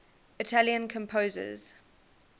italian composers